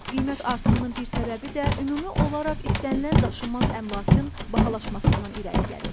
Qiymət artımının bir səbəbi də ümumi olaraq istənilən daşınmaz əmlakın bahalaşmasından irəli gəlir.